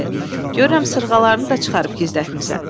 Görürəm sırğalarını da çıxarıb gizlətmisən.